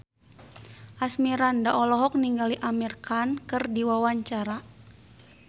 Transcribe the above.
Asmirandah olohok ningali Amir Khan keur diwawancara